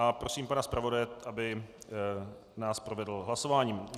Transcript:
A prosím pana zpravodaje, aby nás provedl hlasováním.